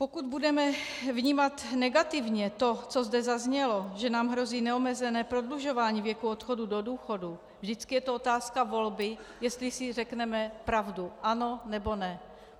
Pokud budeme vnímat negativně to, co zde zaznělo, že nám hrozí neomezené prodlužování věku odchodu do důchodu, vždycky je to otázka volby, jestli si řekneme pravdu - ano, nebo ne.